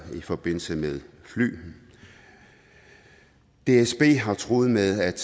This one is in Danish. i forbindelse med fly dsb har truet med at